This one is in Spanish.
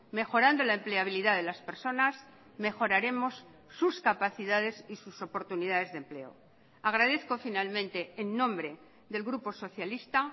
mejorando la empleabilidad de las personas mejoraremos sus capacidades y sus oportunidades de empleo agradezco finalmente en nombre del grupo socialista